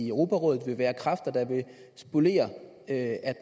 europarådet vil være kræfter der vil spolere at